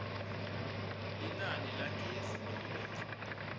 linani lagezi nobe